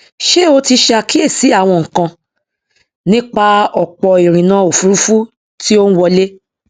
ṣé o ti ṣàkíyèsí àwọn nǹkan nípa ọpọ ìrìnà ofurufú tí ó ń wọlé